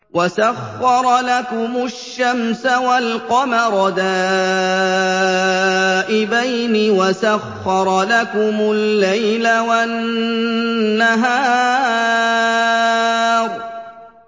وَسَخَّرَ لَكُمُ الشَّمْسَ وَالْقَمَرَ دَائِبَيْنِ ۖ وَسَخَّرَ لَكُمُ اللَّيْلَ وَالنَّهَارَ